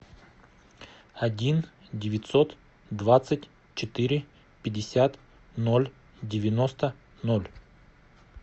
один девятьсот двадцать четыре пятьдесят ноль девяносто ноль